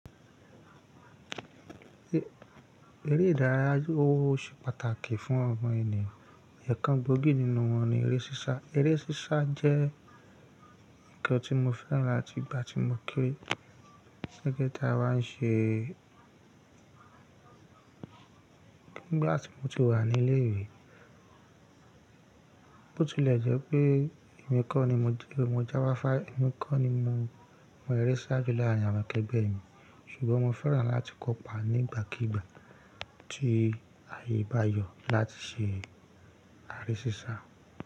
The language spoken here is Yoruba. Eré ìdárayá ó ṣe pàtàkì fún ọ̀mọ̀ ènìyàn, ẹ̀ẹ̀kan gbòógì nínú wọn ni eré sísá. Eré sísá jẹ́ ǹkan tí mo fẹ́ràn láti ìgbà tí mo kéré. Kete tí a bá ń ṣe nígbà tí mo ti wà ní ilé-ìwé. Bó tilẹ̀ jẹ́ pé èmi kọ́ ni mo ti lè mọ jáfáfá, èmi kọ́ ni mo mọ eré sá jù láàrín àwọn akẹgbẹ́ mi, ṣùgbọ́n mo fẹ́ràn láti kópa nígbàkígbà tí ààyè bá yọ láti ṣe eré sísá.